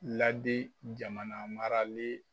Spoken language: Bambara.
Ladi jamanamaralen